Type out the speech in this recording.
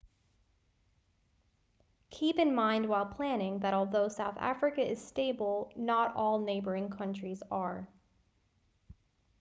keep in mind while planning that although southern africa is stable not all neighboring countries are